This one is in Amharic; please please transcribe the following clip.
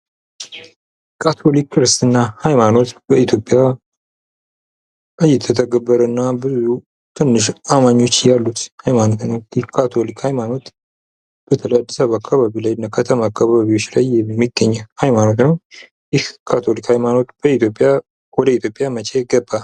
ካቶሊክ ክርስትና ሃይማኖት በኢትዮጵያ እይተተገበረ እና ብዙ ትንሽ አማኞች ያሉት ሃይማኖት ነው። ይህ ካቶሊክ ሃይማኖት በተለይ አዲሳበባ አካባቢ ላይ እና ከተማ አካባቢዎች ላይ የሚገኝ ሃይማኖት ነው። ይህ ካቶሊክ ሃይማኖት ወደ ኢትዮጵያ መቸ ገባ?